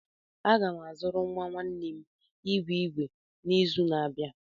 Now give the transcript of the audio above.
Aga m azụrụ nwa nwanne m igwe igwe n'izu na-abịa.